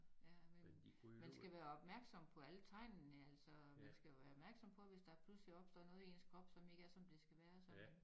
Ja men man skal være opmærksom på alle tegnene altså man skal jo være opmærksom på hvis der pludselig er opstået noget i ens krop som ikke er som det skal være så man